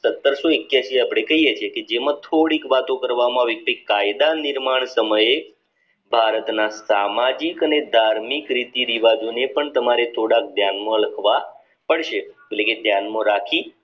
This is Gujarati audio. સત્તરસો એક્યાશી અપડે કહીયે છીએ કે જેમાં થોડીક વાતો કરવામાં વી છે કાયદા નિર્માણ સમયે ભારતના સામાજિક અને ધાર્મિક રીતિ રિવાજોને પણ તમારે થોડાક ધ્યાન માં રાખાવા પડશે એટલે કે ધ્યાન માં રાખી